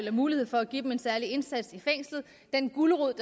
er mulighed for at give dem en særlig indsats i fængslet den gulerod